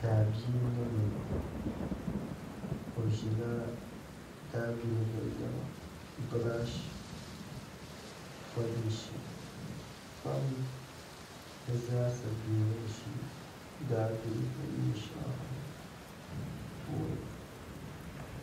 Daabia n boŋo o ʒila daabiligu niɛma birash polishi kpam di zaa sa bɛ o ni ʒi daabiligu neen shɛŋa ŋo puuni